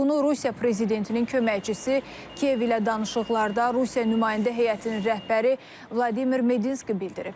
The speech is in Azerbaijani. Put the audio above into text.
Bunu Rusiya prezidentinin köməkçisi Kiyev ilə danışıqlarda Rusiya nümayəndə heyətinin rəhbəri Vladimir Medinski bildirib.